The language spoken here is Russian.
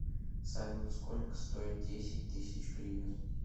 салют сколько стоит десять тысяч гривен